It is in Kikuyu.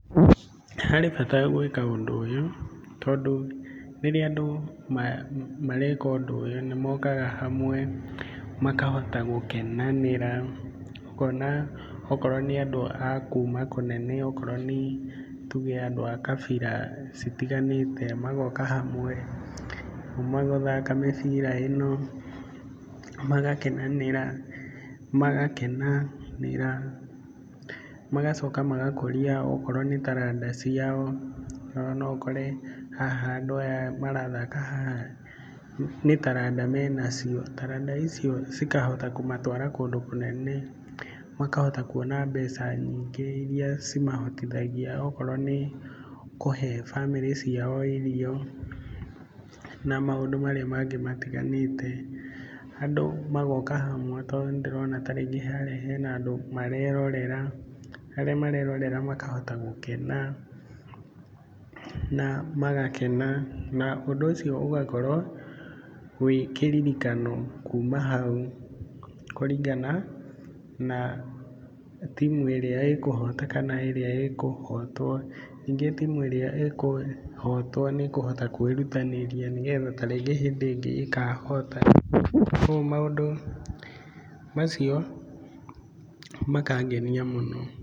Harĩ bata gwĩka ũndũ ũyũ, tondũ rĩrĩa andũ mareka ũndũ ũyũ nĩ mokaga hamwe makahota gũkenanĩra. Ũkona okorwo nĩ andũ a kuma kũnene, okorwo nĩ tuge andũ a kabira citiganĩte magoka hamwe kuma gũthaka mĩbira ĩno magakenanĩra, magakenanĩra magocoka magakũria okorwo nĩ taranda ciao, ona no ũkore haha andũ aya marathaka haha nĩ taranda menacio. Taranda icio cikahota kũmatwara kũndũ kũnene, makahota kuona mbeca nyingĩ iria cimahotithagia okorwo nĩ kũhe bamĩrĩ ciao irio na maũndũ marĩa mangĩ matiganĩte. Andũ magoka hamwe, tondũ nĩ ndĩrona tarĩngĩ harĩa hena andũ marerorera, arĩa marerorea makahota gũkena na magakena. Na ũndũ ũcio ũgakorwo wĩ kĩririkano kuma hau, kũringana na timũ ĩrĩa ĩkũhota kana ĩrĩa ĩkũhotwo. Ningĩ timũ ĩrĩa ĩkũhotwo nĩ ĩkũhota kwĩrutanĩria, nĩgetha tarĩngĩ hĩndĩ ĩngĩ ĩkahota, koguo maũndũ macio makangenia mũno.